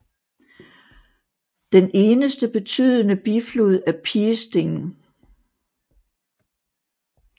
Den eneste betydende biflod er Piesting